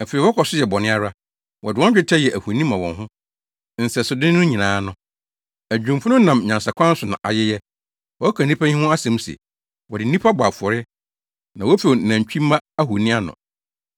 Afei wɔkɔ so yɛ bɔne ara; wɔde wɔn dwetɛ yɛ ahoni ma wɔn ho, nsɛsode no nyinaa no. Adwumfo no nam nyansakwan so na ayeyɛ. Wɔka nnipa yi ho asɛm se, “Wɔde nnipa bɔ afɔre na wofew nantwimma ahoni ano.”